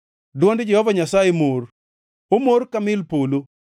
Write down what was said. Dwond Jehova Nyasaye mor, omor ka mil polo.